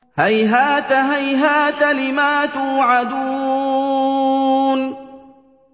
۞ هَيْهَاتَ هَيْهَاتَ لِمَا تُوعَدُونَ